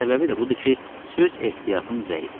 Səbəbi də budur ki, söz ehtiyatım zəifdir.